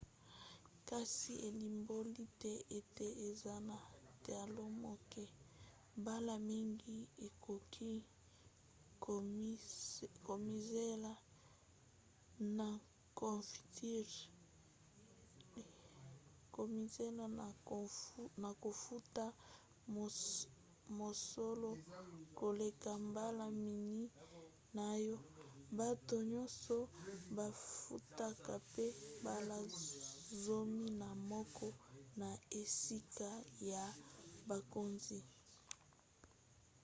kasi elimboli te ete eza na talo moke; mbala mingi okoki komizela na kofuta mosolo koleka mbala minei na oyo bato nyonso bafutaka pe mbala zomi na moko na esika ya bakonzi!